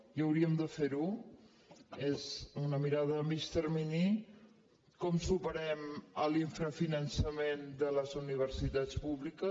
i hauríem de fer·ho és una mirada a mig termini com supe·rem l’infrafinançament de les universitats públiques